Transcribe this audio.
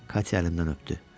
Katya əlimdən öpdü.